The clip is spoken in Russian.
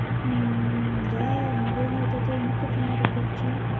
да наверное это та и ну-ка фонарик включи